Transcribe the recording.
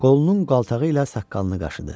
Qolunun qaltağı ilə saqqalını qaşıdı.